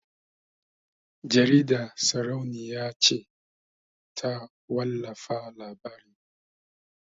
Jaridar sarauniya ce ta wallafa labarin